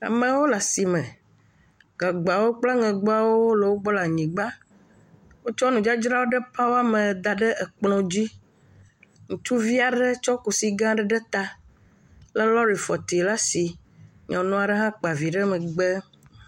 Amewo le asime, gagbawo kple aŋegbawo le wo gbɔ le anyigba, wotsɔ nudzadzra ɖe pa woame. da ɖe ekplɔ dzi, ŋutsuvi aɖe tse kusi gã aɖe ɖe ta lé lɔri fɔti ɖe asi, nyɔnu aɖe hã kpa vi ɖe megbe.